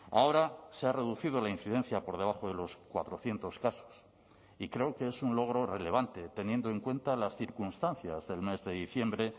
ahora se ha reducido la incidencia por debajo de los cuatrocientos casos y creo que es un logro relevante teniendo en cuenta las circunstancias del mes de diciembre